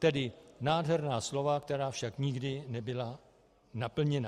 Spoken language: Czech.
- Tedy nádherná slova, která však nikdy nebyla naplněna.